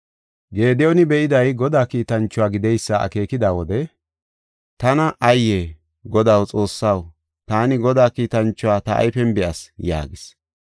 Gediyooni be7iday Godaa kiitanchuwa gideysa akeekida wode, “Godaa Xoossaw, tana ayye! taani Godaa kiitanchuwa ta ayfen be7as” yaagis.